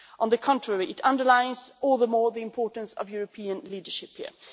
On the contrary, it underlines all the more the importance of European leadership here.